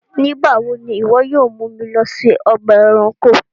Nígbàwọ̀ ni iwọ yóò mú mi lọ sí ọgba ẹ̀ránkò?